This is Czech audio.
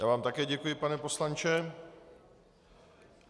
Já vám také děkuji, pane poslanče.